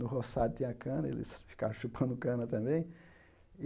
No roçado tinha cana, eles ficaram chupando cana também.